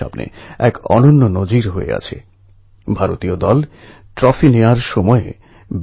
ভেতরে একটি ছোট টিলার উপর আটকে ছিল তাও একদিনদুদিন নয় ১৮ দিন